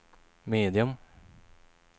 medium